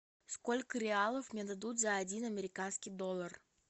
сколько реалов мне дадут за один американский доллар